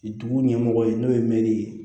Dugu ɲɛmɔgɔ ye n'o ye mɛri ye